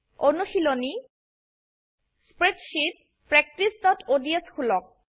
অনুশীলনী160 spreadsheet practiceঅডছ খোলক